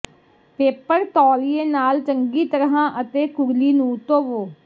paper ਤੌਲੀਏ ਨਾਲ ਚੰਗੀ ਤਰ੍ਹਾਂ ਅਤੇ ਕੁਰਲੀ ਨੂੰ ਧੋਵੋ